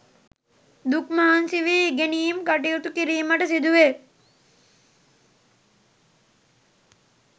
දුක් මහන්සි වී ඉගෙනීම් කටයුතු කිරීමට සිදුවේ.